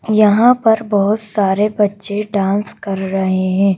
यहां पर बहुत सारे बच्चे डांस कर रहे हैं।